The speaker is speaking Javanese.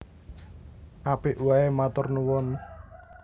Apik waé matur nuwun